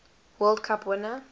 world cup winner